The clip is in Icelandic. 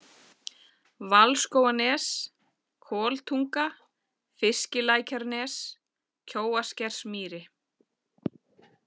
Valskóganes, Koltunga, Fiskilækjarnes, Kjóaskersmýri